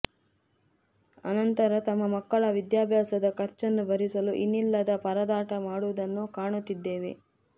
ಆನಂತರ ತಮ್ಮ ಮಕ್ಕಳ ವಿದ್ಯಾಭ್ಯಾಸದ ಖರ್ಚನ್ನು ಭರಿಸಲು ಇನ್ನಿಲ್ಲದ ಪರದಾಟ ಮಾಡುವುದನ್ನು ಕಾಣುತ್ತಿದ್ದೇವೆ